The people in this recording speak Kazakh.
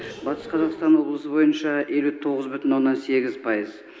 батыс қазақстан облысы бойынша елу тоғыз бүтін оннан сегіз пайыз